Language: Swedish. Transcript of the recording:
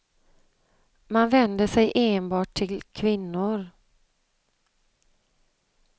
Man vänder sig enbart till kvinnor.